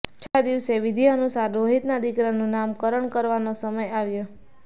છઠ્ઠા દિવસે વિધિ અનુસાર રોહિતના દીકરાનું નામ કરણ કરવાનો સમય આવ્યો